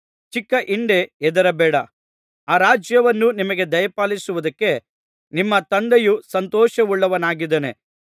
ಚಿಕ್ಕ ಹಿಂಡೇ ಹೆದರಬೇಡ ಆ ರಾಜ್ಯವನ್ನು ನಿಮಗೆ ದಯಪಾಲಿಸುವುದಕ್ಕೆ ನಿಮ್ಮ ತಂದೆಯು ಸಂತೋಷವುಳ್ಳವನಾಗಿದ್ದಾನೆ